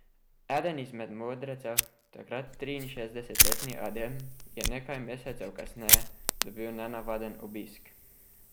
Eden izmed modrecev, takrat triinšestdesetletni Adem, je nekaj mesecev kasneje dobil nenavaden obisk.